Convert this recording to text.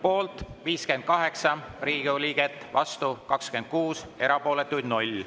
Poolt 58 Riigikogu liiget, vastu 26, erapooletuid 0.